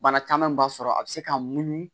Bana caman b'a sɔrɔ a bɛ se ka munu